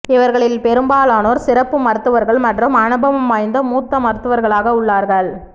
இவர்களில் பெரும்பாலானோர் சிறப்பு மருத்துவர்கள் மற்றும் அனுபவம் வாய்ந்த மூத்த மருத்து வர்களாக உள்ளார்கள்